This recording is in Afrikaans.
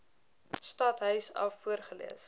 stadhuis af voorgelees